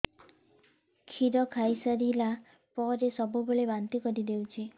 କ୍ଷୀର ଖାଇସାରିଲା ପରେ ସବୁବେଳେ ବାନ୍ତି କରିଦେଉଛି